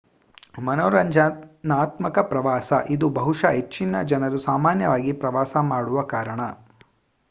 ಮನೋರಂಜನಾತ್ಮಕ ಪ್ರವಾಸ ಇದು ಬಹುಶಃ ಹೆಚ್ಚಿನ ಜನರು ಸಾಮಾನ್ಯವಾಗಿ ಪ್ರವಾಸ ಮಾಡುವ ಕಾರಣ